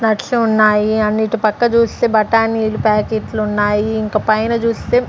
nuts ఉన్నాయి and ఇటు పక్క చూస్తే బఠానీలు ప్యాకెట్లున్నాయి ఇంక పైన చూస్తే--